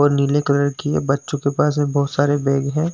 और नीले कलर की बच्चो के पास बहोत सारे बैग है।